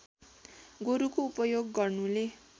गोरुको उपयोग गर्नुले